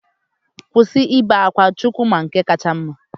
Kwụsị ibe akwa, Chukwu mara nke kacha mma.